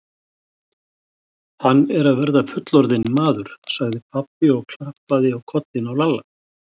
Hann er að verða fullorðinn maður, sagði pabbi og klappaði á kollinn á Lalla.